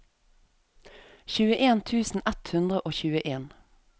tjueen tusen ett hundre og tjueen